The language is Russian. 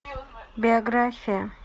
биография